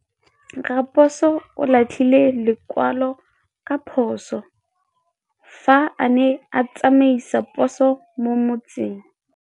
Raposo o latlhie lekwalô ka phosô fa a ne a tsamaisa poso mo motseng.